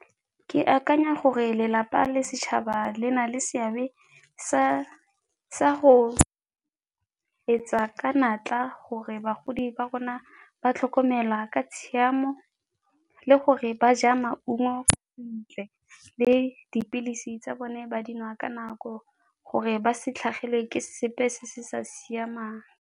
Ke akanya gore lelapa le setšhaba le na le seabe sa go etsa ka natla gore bagodi ba rona ba tlhokomelwa ka tshiamo le gore ba ja maungo le dipilisi tsa bone ba di nwa ka nako gore ba se tlhagelwe ke sepe se se sa siamang.